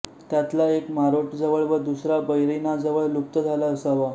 त्यातला एक मारोटजवळ व दुसरा बैरिनाजवळ लुप्त झाला असावा